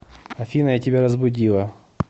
афина я тебя разбудила